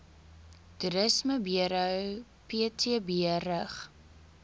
toerismeburo ptb rig